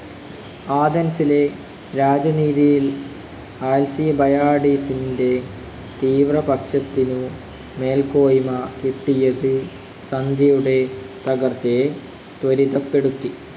ആതൻസിലെ രാജനീതിയിൽ അൽസിബയാഡിസിൻ്റെ തീവ്രപക്ഷത്തിനു മേൽക്കോയ്മ കിട്ടിയത് സന്ധിയുടെ തകർച്ചയെ ത്വരിതപ്പെടുത്തി.